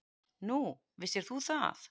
Nú, vissir þú það?